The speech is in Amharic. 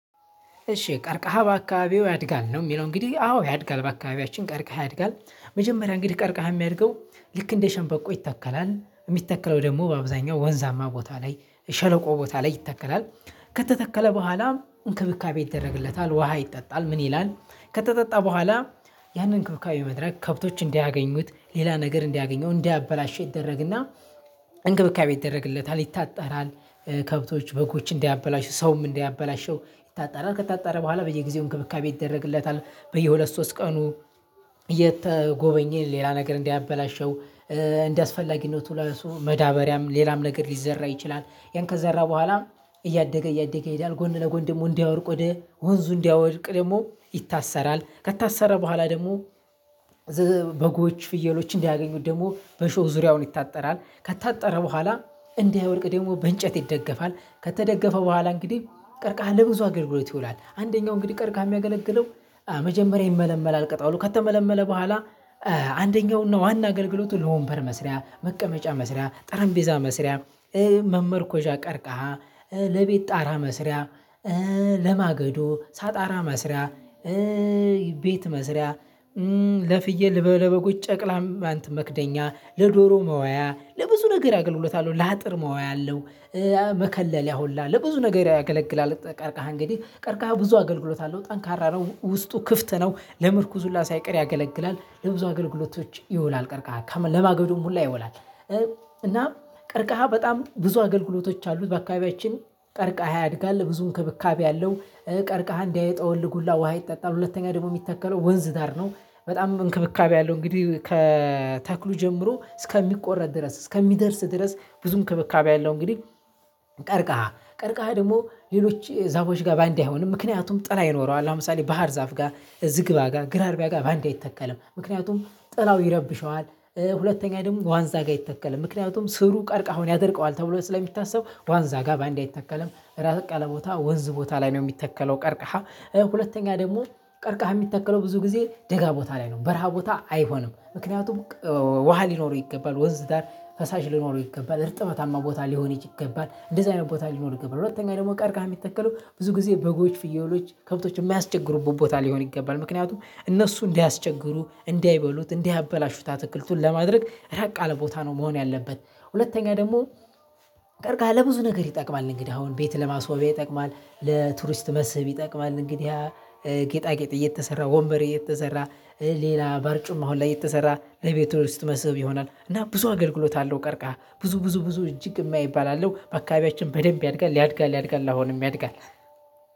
እሺ ቀርቀሃ በአካባቢው ያድጋል ነው ሚለው እንግዲህ አዎ ያድጋል በአካባቢያችን ቀርቀሃ ያድጋል። መጀመሪያ እንግዲህ ቀርቀሃ ሚያድገው ልክ እንደ ሸንበቆ ይተከላል የሚተከለው ደግሞ በአብዛኛው ወንዛማ ቦታ ላይ ሸለቆ ቦታ ላይ ይተከላል። ከተተከለ በኋላም እንክብካቤ ይደረግለታል ውሃ ይጠጣል ምን ይላል? ከተጠጣ በኋላ ያንን እንክብካቤ መድረግ ከብቶች እንዳያገኙት ሌላ ነገር እንዲያገኘው እንዲያበላሽ ይደረግ እና እንክብካቤ ይደረግለታል ይታጠራል። ከብቶች በጎች እንዳያበላሹ ሰውም እንዳያበላሸው ይታጠራል ከታጠረ በኋላ በየጊዜው እንክብካቤ ይደረግለታል በየሁለት ሶስት ቀኑ። እየተጎበኘ ሌላ ነገር እንዳያበላሸው እንደአስፈላጊነቱ ለሱ መዳበሪያም ሌላም ነገር ሊዘራ ይችላል። ያን ከዘራ በኋላ እያደገ እያደገ ይሄዳል ጎን ለጎን ደግሞ እንዳይወድቅ ወደ ወንዙ እንዳይወድቅ ደግሞ ይታሰራል ከታሰረ በኋላ ደግሞ። በጎች ፍየሎች እንዳያገኙት ደግሞ በሾህ ዙሪያውን ይታጠራል ከታጠረ በኋላ እንዳይወድቅ ደግሞ በእንጨት ይደገፋል። ከተደገፈ በኋላ እንግዲህ ቀርቀሃ ለብዙ አገልግሎት ይውላል አንደኛው እንግዲህ ቀርቀሃ ሚያገለግለው። መጀመሪያ ይመለመላል ቅጠሉ ከተመለመለ በኋላ አንደኛው እና ዋና አገልግሎቱ ለወንበር መስሪያ መቀመጫ መስሪያ ጠረጴዛ መስሪያ። መመርኮዣ ቀርቀሃ ለቤት ጣራ መስሪያ ለማገዶ ሳጣራ መስሪያ ቤት መስሪያ ለፍየል ለበ ለበጎች ጨቅላም ማንት መክደኛ ለዶሮ መዋያ ለብዙ ነገር አገልግሎት አለው ለአጥር መዋያ አለው። መከለልያ ሁላ ለብዙ ነገር ያገለግላል። ጠ ቀርቀሃ እንግዲህ ቀርቀሃ ብዙ አገልግሎት አለው ጠንካራ ነው ውስጡ ክፍት ነው ለምርኩዝ ሁላ ሳይቀር ያገለግላል ለብዙ አገልግሎቶች ይውላል። ቀርቀሃ ከማ ለማገዶም ሁላ ይውላል እና ቀርቀሃ በጣም ብዙ አገልግሎቶች አሉት። በአካባቢያችን ቀርቀሃ ያድጋል ብዙ እንክብካቤ አለው ቀርቀሃ እንዳይጠወልግ ሁላ ውሃ ይጠጣል። ሁለተኛ ደግሞ ሚተከለው ወንዝ ዳር ነው በጣም እንክብካቤ አለው እንግዲህ ከተክሉ ጀምሮ እስከሚቆረጥ ድረስ እስከሚደርስ ድረስ ብዙ እንክብካቤ አለው። እንግዲህ ቀርቀሃ ቀርቀሃ ደግሞ ሌሎች ዛፎች ጋር በአንዴ አይሆንም ምክንያቱም ጥላ ይኖረዋል ለምሳሌ ባህር ዛፍ ጋር እዝግባ ጋር ግራርቢያ ጋር በአንዴ አይተከልም ምክንያቱም ጥላው ይረብሸዋል። ሁለተኛ ደግሞ ዋንዛ ጋር አይተከለም ምክንያቱም ስሩ ቀርቀሃውን ያደርቀዋል ተብሎ ስለሚታሰብ ዋንዛ ጋር በአንዴ አይተከለም። ራቅ ያለ ቦታ ወንዝ ቦታ ላይ ነው ሚተከለው ቀርቀሃ። ሁለተኛ ደግሞ ቀርቀሃ ሚተከለው ብዙ ጊዜ ደጋ ቦታ ላይ ነው በረሃ ቦታ አይሆንም። ምክንያቱም ቀው ውሃ ሊኖረው ይገባል ወንዝ ዳር ፈሳሽ ሊኖረው ይገባል እርጥበታማ ቦታ ሊሆን ይች ይገባል እንደዚህ አይነት ቦታ ሊኖር ይገባል። ሁለተኛ ደግሞ ቀርቀሃ ሚተከለው ብዙ ጊዜ በጎች ፍየሎች ከብቶች የማያስቸግሩበት ቦታ ሊሆን ይገባል ምክንያቱም እነሱ እንዳያስቸግሩ እንዳይበሉት እንዳያበላሹት አትክልቱን ለማድረግ ራቅ ያለ ቦታ ነው መሆን ያለበት። ሁለተኛ ደግሞ ቀርቀሃ ለም ብዙ ነገር ይጠቅማል እንግዲህ አሁን ቤት ለማስዋበያ ይጠቅማል። ለቱሪስት መስህብ ይጠቅማል እንግዲህ። ጌጣጌጥ እየተሰራ ወንበር እየተሰራ ሌላ በርጩማ አሁን ላይ እየተሰራ ለቤቱ ውስጥ መስህብ ይሆናል። እና ብዙ አገልግሎት አለው። ቀርቀሃ ብዙ ብዙ ብዙ እጅግ እማይባል አለው በአካባቢያችን በደንብ ያድጋል ያድጋል ያድጋል አሁንም ያድጋል።